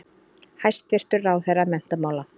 Hæstvirtur ráðherra menntamála.